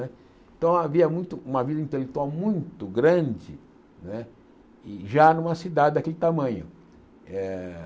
Né então havia muito uma vida intelectual muito grande né e já numa cidade daquele tamanho. Eh